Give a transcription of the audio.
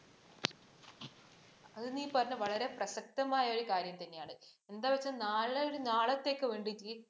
അത് നീ പറഞ്ഞത് വളരെ പ്രസക്തമായ ഒരു കാര്യം തന്നെയാണ്. എന്താ വച്ചാൽ നാളെ ഒരു നാളത്തേക്ക് വേണ്ടി